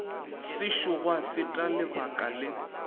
sešo gwa feta lebaka le